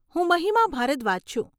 હું મહિમા ભારદ્વાજ છું.